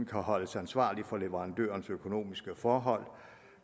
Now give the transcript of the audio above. kan holdes ansvarlig for leverandørens økonomiske forhold